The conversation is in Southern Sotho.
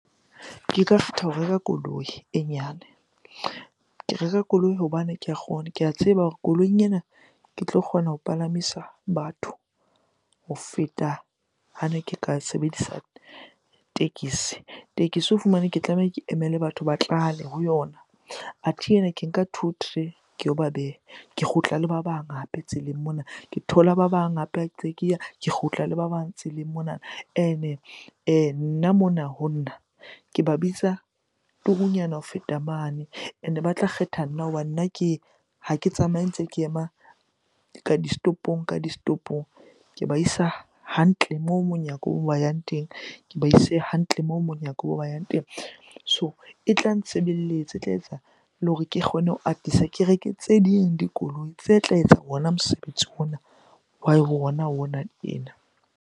Ke ka kgetha ho reka koloi e nyane. Ke reka koloi hobane ke a kgona, ke a tseba hore koloing ena ke tlo kgona ho palamisa batho ho feta hane ke ka sebedisa tekesi. Tekesi o fumane ke tlameha ke emele batho ba tlale ho yona. Athe ena ke nka two three, ke yo ba beha. Ke kgutla le ba bang hape tseleng mona. Ke thola ba bang hape ha ntse ke ya, ke kgutla le ba bang tseleng monana. Ene, nna mona ho nna ke ba bitsa turunyana ho feta mane and-e ba tla kgetha nna hobane nna ke, ha ke tsamaye ntse ke ema ka di-stopo-ong ka di-stopo-ong. Ke ba isa hantle moo monyakong yang teng, ke ba ise hantle moo monyako moo ba yang teng. So e tla ntshebelletsa, e tla etsa le hore ke kgone ho atisa ke reke tse ding dikoloi tse tla etsa ona mosebetsi ona wa ona ena.